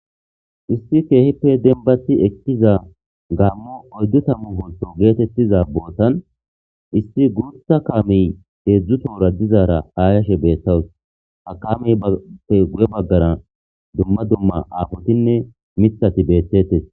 issi keehippe denbasi ekkiza gaammo oyddu tammu holto geetettiza bootan issi gurtha kaamey heedzdzu toora dizaara hayashe beettawus ha kamey pe guye baggara dumma dumma aafotinne mithati beettetes